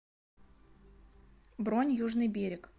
бронь южный берег